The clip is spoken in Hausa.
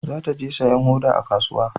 Za ta je sayan hoda a kasuwa